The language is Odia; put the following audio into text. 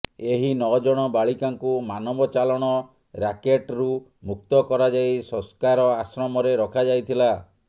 ଏହି ନଅ ଜଣ ବାଳିକାଙ୍କୁ ମାନବ ଚାଲାଣ ରାକେଟ୍ରୁ ମୁକ୍ତ କରାଯାଇ ସଂସ୍କାର ଆଶ୍ରମରେ ରଖାଯାଇଥିଲା